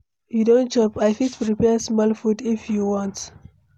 You don chop? I fit prepare small food if you want.